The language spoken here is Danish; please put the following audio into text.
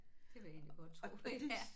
Det vil jeg egentlig godt tro